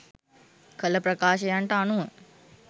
කළ ප්‍රකාශයන්ට අනුව